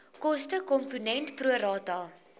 kostekomponent pro rata